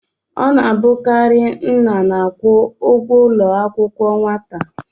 Ọ na-abụkarị nna na-akwụ ụgwọ ụlọ akwụkwọ nwata.